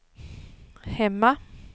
hemma